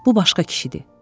Bu başqa kişidir.